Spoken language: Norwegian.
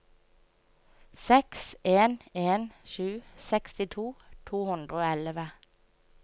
seks en en sju sekstito to hundre og elleve